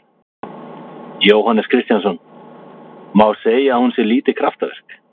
Jóhannes Kristjánsson: Má segja að hún sé lítið kraftaverk?